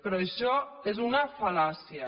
però això és una fal·làcia